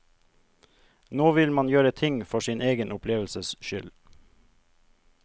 Nå vil man gjøre ting for sin egen opplevelses skyld.